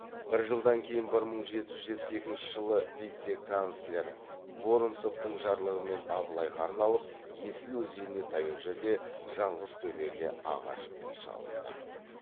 бір жылдан кейін бір мың жеті жүз жетпіс екінші жылы вице канцлер воронцовтың жарлығымен абылайға арналып есіл өзеніне таяу жерде жаңғызтөбеге ағаш үй салынды